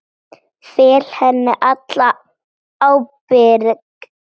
Fel henni alla ábyrgð.